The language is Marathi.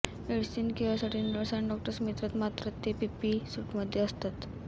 मेडिसीन केअरसाठी नर्स आणि डॉक्टर्स येतात मात्र ते पीपीई सूटमध्ये असता